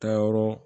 Taayɔrɔ